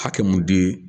Hakɛ mun di